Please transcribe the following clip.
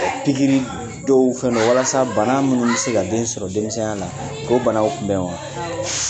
Pikiri dɔw fɛndɔ walasa bana minnu bɛ se ka den sɔrɔ denmisɛnya la ko banaw kun bɛ wa awɔ